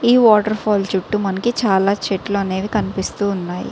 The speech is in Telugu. ఈ వాటర్ ఫాల్ చుట్టు మనకి చాల చెట్లు అనేవి కనిపిస్తూ వున్నాయ్.